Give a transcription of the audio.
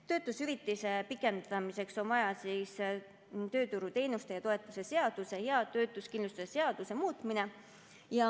Töötuhüvitise pikendamiseks on vaja tööturuteenuste ja ‑toetuste seaduse ja töötuskindlustuse seaduse muutmist.